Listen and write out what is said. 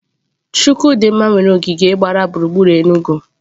Chukwu di nma nwere ogige gbara gburugburu Enugu.